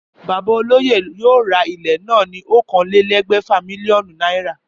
Bàbá olóyè yóò ra ilé náà fún okòólélégbèfà mílíònù náírà